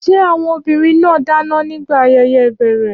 Ṣé àwọn obìnrin náà dáná nígbà ayẹyẹ ìbẹ̀rẹ̀?